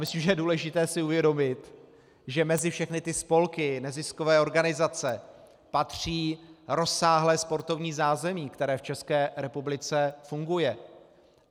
Myslím, že je důležité si uvědomit, že mezi všechny ty spolky, neziskové organizace patří rozsáhlé sportovní zázemí, které v České republice funguje.